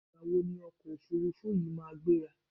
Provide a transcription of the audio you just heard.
Ìgbà wo ni ọkọ̀ òfurufú yi máa gbéra?